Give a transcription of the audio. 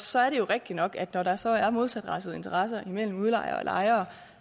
så er det jo rigtigt nok at når der så er modsatrettede interesser imellem udlejer og lejer